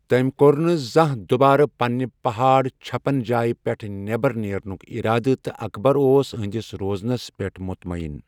تٔمۍ کوٚر نہٕ زانٛہہ دُبارٕ پننہِ پہاڑ چھپن جایہٕ پٮ۪ٹھ نٮ۪بر نیرنُک ارادٕ تہٕ اکبر اوس أہہنٛدِس روزنس پٮ۪ٹھ مُطمعیٖن۔